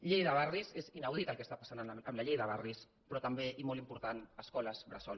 llei de barris és inau dit el que està passant amb la llei de barris però també i molt important escoles bressol